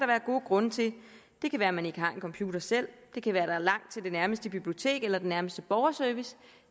være gode grunde til det kan være man ikke har en computer selv det kan være der er langt til det nærmeste bibliotek eller den nærmeste borgerservice